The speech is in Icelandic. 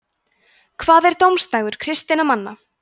hvað er dómsdagur kristinna manna